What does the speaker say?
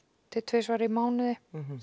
til tvisvar í mánuði